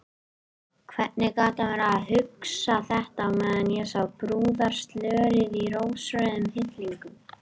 Hvernig gat hann verið að hugsa þetta á meðan ég sá brúðarslörið í rósrauðum hillingum!